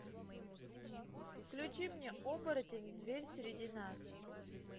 включи мне оборотень зверь среди нас